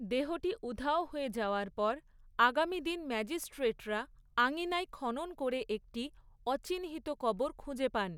দেহটি উধাও হয়ে যাওয়ার পর, আগামী দিন ম্যাজিস্ট্রেটরা আঙিনায় খনন করে একটি অচিহ্নিত কবর খুঁজে পান।